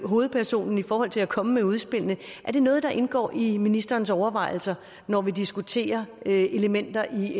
hovedpersonen i forhold til at komme med udspillene er det noget der indgår i ministerens overvejelser når vi diskuterer elementer i